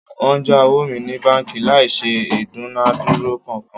Wọ́n já owó mi ní báńkì láì ṣe ìdúnadúrà kankan